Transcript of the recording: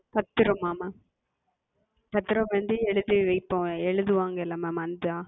பத்திரமா Ma'am? பத்திரம் வந்து எழுதி வைப்போம் எழுதுவாங்க ல Ma'am அந்த அது?